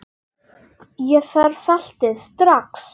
Ég þarf saltið strax.